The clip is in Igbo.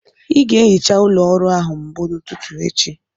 Ị ga-ehicha ụlọ ọrụ a mbụ n'ụtụtụ echi